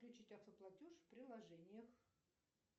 включить авто платеж в приложениях